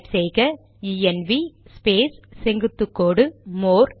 type செய்க ENV space செங்குத்து கோடு மோர்